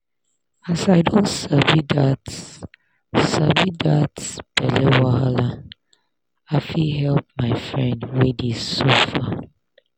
as i don sabi that sabi that belle wahala i fit help my friend wey dey suffer.